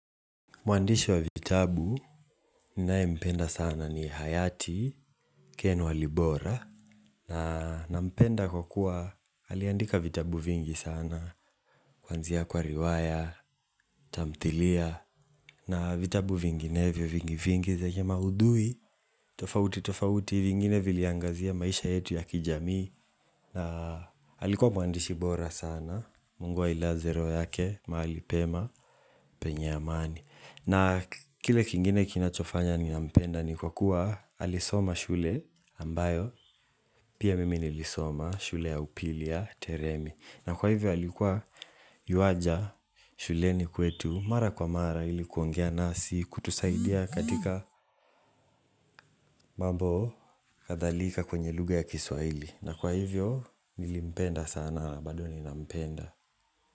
Mwandishi wa vitabu, ninaye mpenda sana ni hayati, ken walibora Nampenda kwa kuwa, aliandika vitabu vingi sana Kwanzia kwa riwaya, tamthilia na vitabu vinginevyo vingi vingi vingi zenye maudhui tofauti tofauti, vingine viliangazia maisha yetu ya kijamii na alikuwa mwandishi bora sana Mungu ailaze roho yake, mahali pema, penye amani na kile kingine kinachofanya ninampenda ni kwa kuwa alisoma shule ambayo pia mimi nilisoma shule ya upili ya Teremi na kwa hivyo alikuwa yuaja shuleni kwetu mara kwa mara ilikuongea nasi kutusaidia katika mambo kadhalika kwenye lugha ya kiswahili na kwa hivyo nilimpenda sana na bado ninampenda.